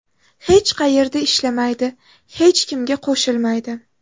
Hech qayerda ishlamaydi, hech kimga qo‘shilmaydi.